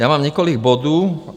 Já mám několik bodů.